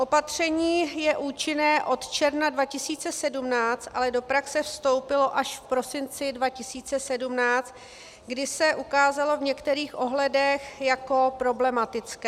Opatření je účinné od června 2017, ale do praxe vstoupilo až v prosinci 2017, kdy se ukázalo v některých ohledech jako problematické.